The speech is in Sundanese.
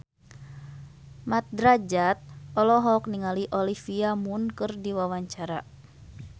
Mat Drajat olohok ningali Olivia Munn keur diwawancara